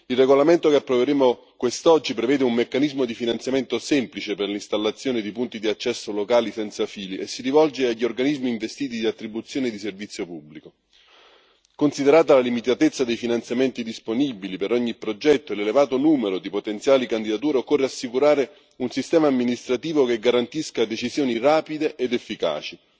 Il regolamento che approveremo quest'oggi prevede un meccanismo di finanziamento semplice per l'installazione di punti di accesso locali senza fili, e si rivolge agli organismi investiti di attribuzioni di servizio pubblico. Considerata la limitatezza dei finanziamenti disponibili per ogni progetto e l'elevato numero di potenziali candidature, occorre assicurare un sistema amministrativo che garantisca decisioni rapide ed efficaci.